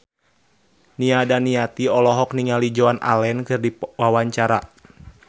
Nia Daniati olohok ningali Joan Allen keur diwawancara